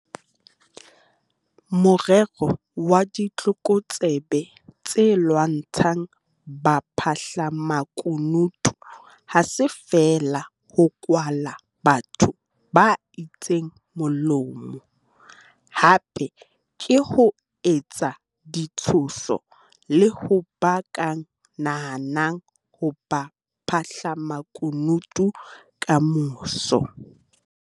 Morero wa ditlokotsebe tse lwantshang baphahlamaku nutu ha se feela ho kwala batho ba itseng molomo - hape ke ho etsa ditshoso le ho ba ka nahang ho ba baphahlamakunutu kamoso.